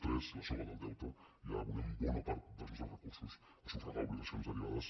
tres la soga del deute ja abonem bona part dels nostres recursos a sufragar obligacions derivades